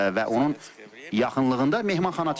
Və onun yaxınlığında mehmanxana tikilir.